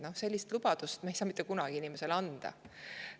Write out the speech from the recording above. No sellist lubadust ei saa me mitte kunagi inimesele anda.